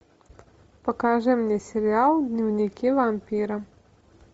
покажи мне сериал дневники вампира